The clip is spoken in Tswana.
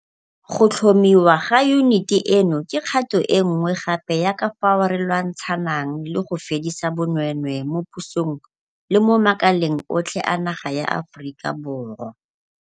Go tlhomiwa ga yuniti eno ke kgato e nngwe gape ya ka fao re lwantshanang le go fedisa bonweenwee mo pusong le mo makaleng otlhe a naga ya Aforika Borwa.